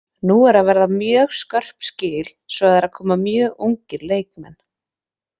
Nú eru að verða mjög skörp skil svo það eru að koma mjög ungir leikmenn.